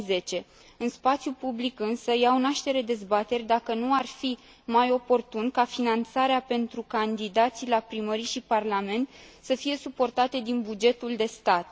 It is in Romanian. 2010. În spațiul public, însă, se dezbate dacă nu ar fi mai oportun ca finanțarea pentru candidații la primării și parlament să fie suportată din bugetul de stat.